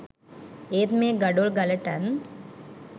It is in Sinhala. ඒත් මේ ගඩොල් ගලටත්